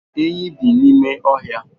Enyí bi n'ime ọhịa